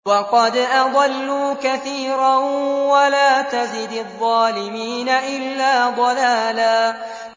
وَقَدْ أَضَلُّوا كَثِيرًا ۖ وَلَا تَزِدِ الظَّالِمِينَ إِلَّا ضَلَالًا